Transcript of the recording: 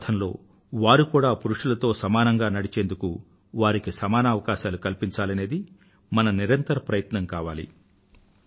ప్రగతి పథంలో వారు కూడా పురుషులతో సమానంగా నడిచేందుకు వారికి సమానావకాశాలు కల్పించాలనేది మన నిరంతర ప్రయత్నం కావాలి